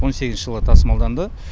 он сегізінші жылы тасымалданды